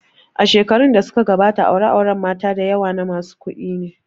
Shekarun da suka gabata aure auren mata dayawa na masu kuɗi ne